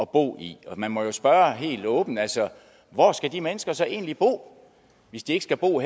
bo i og man må spørge helt åbent altså hvor skal de mennesker så egentlig bo hvis de ikke skal bo